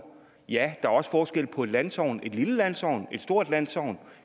ja er også forskel på et landsogn et lille landsogn og et stort landsogn